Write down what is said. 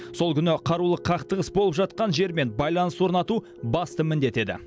сол күні қарулы қақтығыс болып жатқан жермен байланыс орнату басты міндеті еді